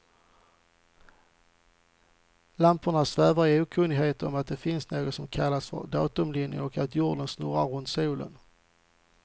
Lamporna svävar i okunnighet om att det finns något som kallas för datumlinjen, och att jorden snurrar runt solen.